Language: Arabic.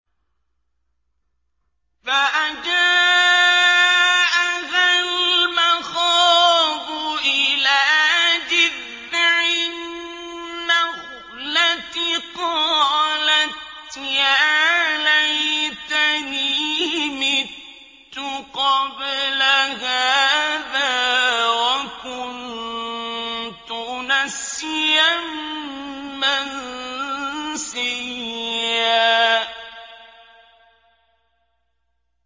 فَأَجَاءَهَا الْمَخَاضُ إِلَىٰ جِذْعِ النَّخْلَةِ قَالَتْ يَا لَيْتَنِي مِتُّ قَبْلَ هَٰذَا وَكُنتُ نَسْيًا مَّنسِيًّا